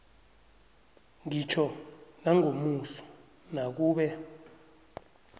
ngitjho nangomuso nakube